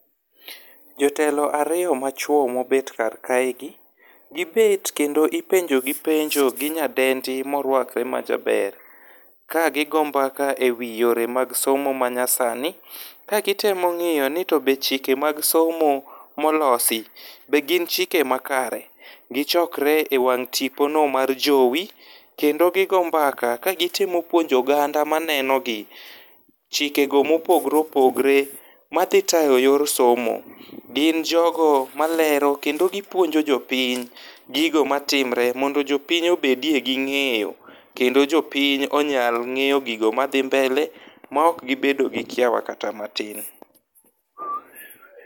Jotelo ariyo machuo mobet kar kae gi. Gibet kendo ipenjo gi penjo gi nyadendi moruakre majaber. Kagigoyo mbaka e wi yore mag somo manyasani ka gitemo ng'iyo ni to be chike mag somo molosi be gin chike makare. Gichokre e wang' tipo no mar jowi. Kendo gigoyo mbaka ka gitemo puonjo oganda maneno gi chike go mopogre opogre madhi tayo yor somo. Gin jogo malero kendo gipuonjo jopiny gigo matimre mondo jopiny obedie gi ng'eyo kendo jopiny onyal ng'eyo gigo madhi mbele ma ok gibedo gi kiawa kata matin.